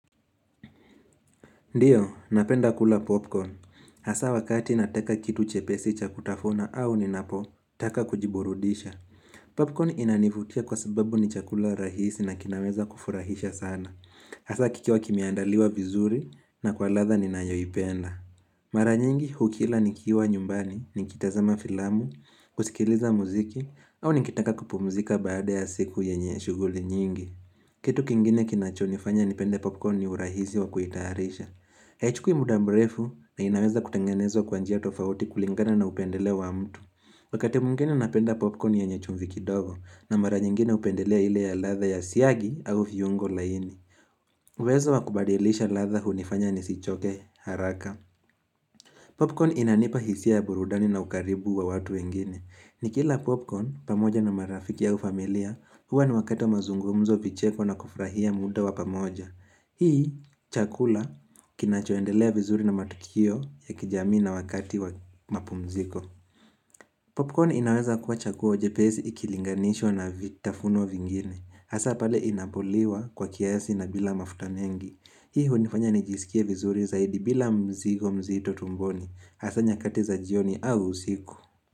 Ndiyo, napenda kula popcorn. Asa wakati nataka kitu chepesi chakutafuna au ninapo, taka kujiburudisha. Popcorn inanivutia kwa sababu ni chakula rahisi na kinaweza kufurahisha sana. Hasa kikiwa kimeandaliwa vizuri na kwa ladha ninayoi penda. Maranyingi hukila nikiwa nyumbani, nikitazama filamu, kusikiliza muziki, au nikitaka kupumzika baada ya siku yenye shughuli nyingi. Kitu kingine kinachonifanya nipende popcorn ni urahisi wa kuitayarisha. Haichukui muda mrefu na inaweza kutengenezwa kwanjia tofauti kulingana na upendeleo wa mtu Wakati mwingene napenda popcorn yenye chumvi kidogo na mara nyingine hupendelea ile ya ladha ya siagi au viungo laini uwezo wakubadilisha ladha hunifanya nisichoke haraka Popcorn inanipa hisia ya burudani na ukaribu wa watu wengine ni kila popcorn pamoja na marafiki au familia huwa ni wakati wa mazungumzo vicheko na kufurahia muda wa pamoja Hii chakula kinachoendelea vizuri na matukio ya kijamii na wakati wa mapu mziko Popcorn inaweza kuwa chaguo jepesi ikilinganishwa na vitafunio vingine Hasa pale inapoliwa kwa kiasi na bila mafuta mengi Hii hunifanya nijisikie vizuri zaidi bila mzigo mzito tumboni Hasa nyakati za jioni au usiku.